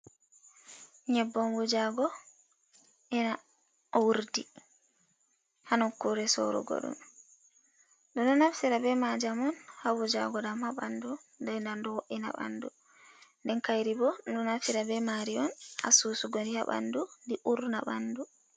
Nyebbam wujago ena urdi ha nokkure sorugo ɗum, ɓeɗo naftira be majam on ha wujago ɗam ha ɓandu, den nanbo ɗo wo’ina ɓandu, den kairi bo ndu naftira be mari on ha susugo ndi ha ɓandu ndi urna ɓandu.